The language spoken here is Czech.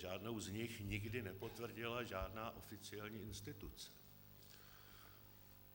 Žádnou z nich nikdy nepotvrdila žádná oficiální instituce.